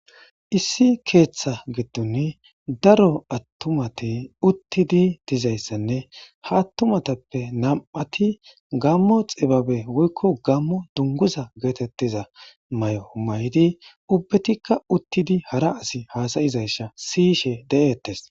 issi keeththa giddun daro attumati uttidi dizayssanne ha attumatappe nam7ati gammo xibabe woykko gammo dunguza geetettiza may7o may7di ubbetikka uttidi hara asi haasayizayssa siyishe de7eettes